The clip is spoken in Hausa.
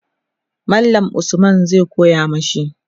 mallam Usman zai koya mashi